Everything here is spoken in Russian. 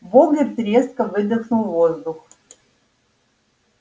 богерт резко выдохнул воздух